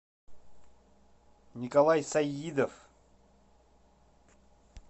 николай саидов